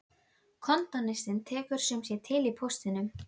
Kontóristinn tekur sum sé til í póstinum.